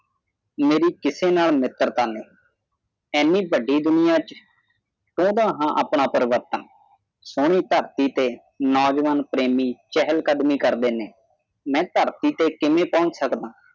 ਮੇਰੀ ਕਿਸੇ ਨਾਲ ਮਿੱਤਰਤਾ ਨਹੀਂ ਇੰਨੀ ਵੱਡੀ ਦੁਨਿਆ ਦੇ ਵਿੱਚ ਚਾਹੁੰਦਾ ਹਾਂ ਆਪਣਾ ਪਰਿਵਰਤਨ ਸੋਹਣੀ ਧਰਤੀ ਤੇ ਨੌਜਵਾਨ ਪ੍ਰੇਮੀ ਚਹਿਲ ਕਦਮੀ ਕਰਦੇ ਨੇ ਮੈਂ ਧਰਤੀ ਤੇ ਕਿਵੇਂ ਪਹੁੰਚ ਸਕਦਾ ਹਾਂ